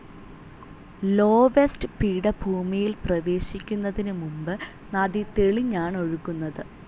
Loess പീഠഭൂമിയിൽ പ്രവേശിക്കുന്നതിനു മുൻപ് നദി തെളിഞ്ഞാണൊഴുകുന്നത്.